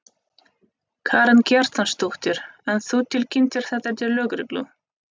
Karen Kjartansdóttir: En þú tilkynntir þetta til lögreglu?